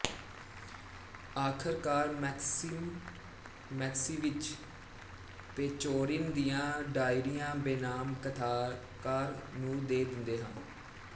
ਆਖਰਕਾਰ Maxim Maximych Pechorin ਦੀਆਂ ਡਾਇਰੀਆਂ ਬੇਨਾਮ ਕਥਾਕਾਰ ਨੂੰ ਦੇ ਦਿੰਦਾ ਹੈ